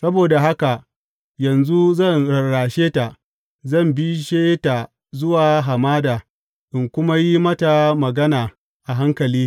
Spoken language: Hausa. Saboda haka yanzu zan rarrashe ta; zan bishe ta zuwa hamada in kuma yi mata magana a hankali.